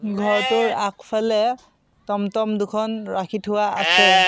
ঘৰটোৰ আগফালে টম্-টম্ দুখন ৰাখি থোৱা আছে।